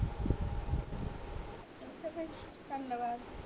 ਧੰਨਵਾਦ